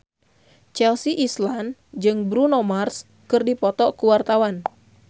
Chelsea Islan jeung Bruno Mars keur dipoto ku wartawan